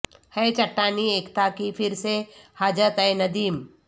ہے چٹانی ایکتا کی پھر سے حاجت اے ندیم